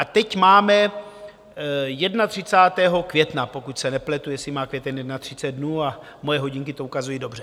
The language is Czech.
A teď máme 31. května, pokud se nepletu, jestli má květen 31 dnů, a moje hodinky to ukazují dobře.